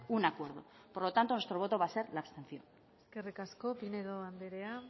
un acuerdo por lo tanto nuestro voto va a ser la abstención eskerrik asko pinedo andrea